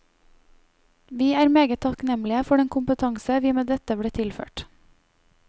Vi er meget takknemlig for den kompetanse vi med dette ble tilført.